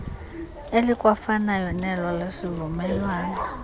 elikwafanayo nelo lesivumelwano